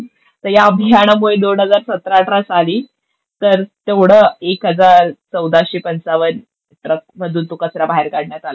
तर या अभियानामुळे दोन हजार सतरा अठरा साली तर तेवढा एक हजार चौदाशे पंचावन्न ट्रक मधून तो कचरा बाहेर काढण्यात आला होता.